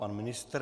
Pan ministr.